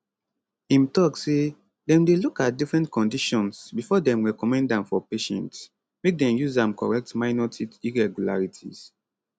im tok say dem dey look at different conditions bifor dem recommend am for patients make dem use am correct minor teeth irregularities